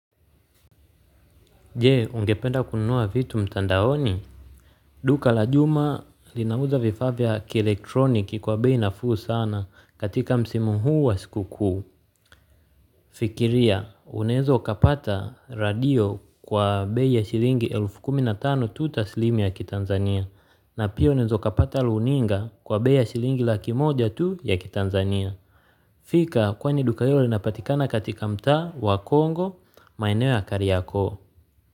Je, ungependa kununua vitu mtandaoni? Duka la juma linauza vifaa vya kielektroniki kwa bei nafuu sana katika msimu huu wa siku kuu. Fikiria, unaweza ukapata radio kwa bei ya shilingi elfu kumi na tano tu taslimu ya ki Tanzania. Na pia unaweza ukapata runinga kwa bei ya shilingi laki moja tu ya ki Tanzania. Fika kwani duka hilo lina patikana katika mtaa wa Kongo maeneo ya kariako.